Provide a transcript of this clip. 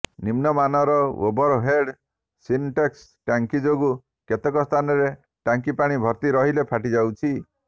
ନିମ୍ନମାନର overhead Sintex ଟାଙ୍କି ଯୋଗୁ କେତେକ ସ୍ଥାନରେ ଟାଙ୍କି ପାଣି ଭର୍ତ୍ତି ରହିଲେ ଫାଟିଯାଉଛି